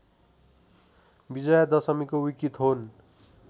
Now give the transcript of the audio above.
विजया दशमीको विकिथोन